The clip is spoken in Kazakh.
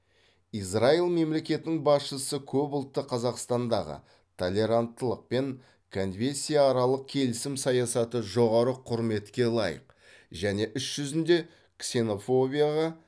израиль мемлекетінің басшысы көпұлтты қазақстандағы толеранттылық пен конфессияаралық келісім саясаты жоғары құрметке лайық және іс жүзінде ксенофобияға